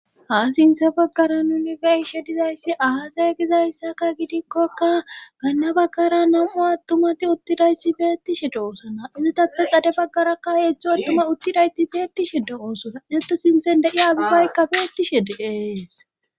Ha sinthe baggara nuni be7ishe dizayssi aazey gizayssaka gidikkoka ganna baggara namu attumati uttidayssi beettishe doosana izatappe xade baggarakka heetztzho attuma uttidayti beettishe de7oosona ete sinthen de7iya abibay beettishe de7ees.